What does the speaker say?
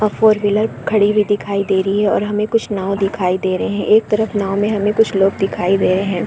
Four wheeler खड़ी हुई दिखाई दे रही है और हमें कुछ नांव दिखाई दे रहै हैं एक तरफ नांव में हमें कुछ लोग दिखाई दे रहै हैं।